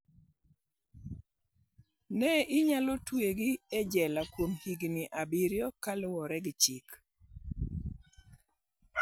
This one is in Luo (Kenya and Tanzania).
Ne inyalo twegi e jela kuom higini abiriyo" kaluore gi chik.